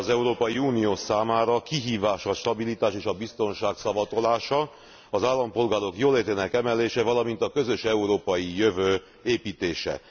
Az Európai Unió számára kihívás a stabilitás és a biztonság szavatolása, az állampolgárok jólétének emelése, valamint a közös európai jövő építése.